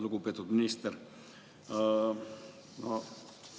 Lugupeetud minister!